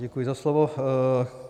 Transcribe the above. Děkuji za slovo.